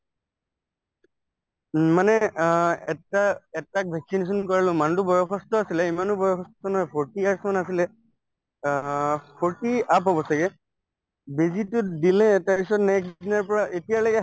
উম মানে অ এটা এটাক vaccination কৰালো মানুহটো বয়সস্থ আছিলে ইমানো বয়সস্থ নহয় forty years মান আছিলে অ forty ৰ up হব ছাগে বেজীতো দিলে তাৰপিছত next দিনাৰ পৰা এতিয়ালৈকে